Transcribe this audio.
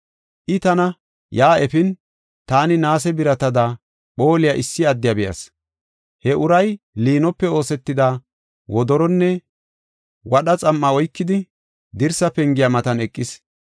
I tana yaa efin taani naase biratada phooliya issi addiya be7as. He uray liinope oosetida wodoronne wadha xam7a oykidi, dirsa pengiya matan eqis.